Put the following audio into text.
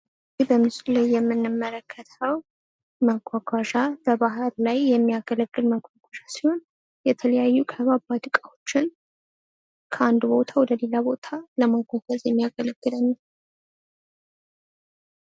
ይህ በምስሉ ላይ የምንመለከተው መጓጓዣ በባህር ላይ የሚያገለግል መጓጓዣ ሲሆን የተለያዩ ከባባድ ዕቃዎችን ከአንድ ቦታ ወደ ሌላ ቦታ ለማጓጓዝ የሚያገለግለን ነው።